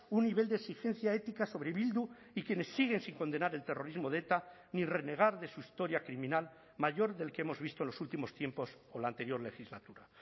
un nivel de exigencia ética sobre bildu y quienes siguen sin condenar el terrorismo de eta ni renegar de su historia criminal mayor del que hemos visto en los últimos tiempos o la anterior legislatura